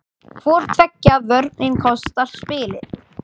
Hvor tveggja vörnin kostar spilið.